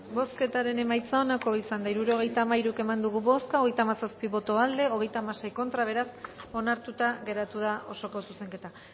bozketaren emaitza onako izan da hirurogeita hamairu eman dugu bozka hogeita hamazazpi boto aldekoa treinta y seis contra beraz onartuta geratu da osoko zuzenketa